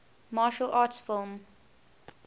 martial arts film